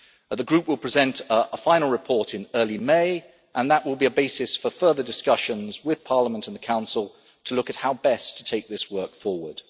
The Group will present a final report in early May, and that will be a basis for further discussions with Parliament and the Council to look at how best to take this work forward.